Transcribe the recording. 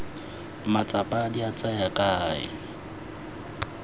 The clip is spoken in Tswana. matsapa di a tsaya kae